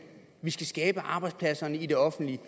vi skal skabe arbejdspladserne i den offentlige